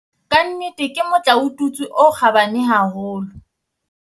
"Ka nnete ke motlaotutswe o kgabane haholo."